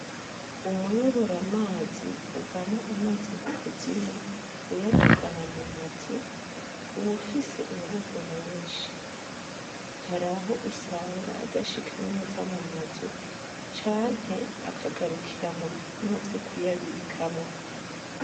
Umuyobora mazi uvana amazi mu kuzimu uyadugana mu mazu uba ufise inguvu nyinshi, haraho usanga adashika neza mu mazu canke akagarukira mu bikono vyo kuyabikamwo.